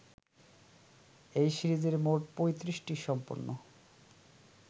এই সিরিজের মোট ৩৫টি সম্পূর্ণ